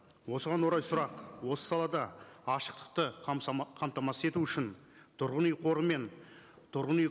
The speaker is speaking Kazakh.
осыған орай сұрақ осы салада ашықтықты қамтамасыз ету үшін тұрғын үй қоры мен тұрғын үй